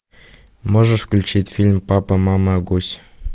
можешь включить фильм папа мама гусь